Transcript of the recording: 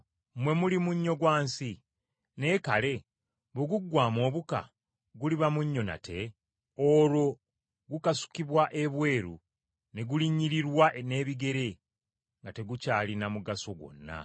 “Mmwe muli munnyo gwa nsi. Naye kale bwe guggwaamu obuka, guliba munnyo nate? Olwo gukasukibwa ebweru ne gulinnyirirwa n’ebigere, nga tegukyalina mugaso gwonna.